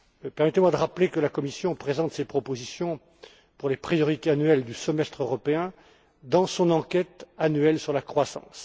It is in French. Permettez moi de rappeler que la Commission présente ses propositions pour les priorités annuelles du semestre européen dans son examen annuel de la croissance.